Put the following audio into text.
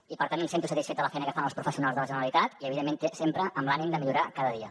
i per tant em sento satisfet de la feina que fan els professionals de la generalitat i evidentment sempre amb l’ànim de millorar cada dia